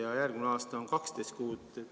Ja järgmine aasta on 12 kuud.